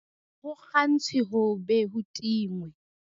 Ha ho kgantshwe ho be ho tingwe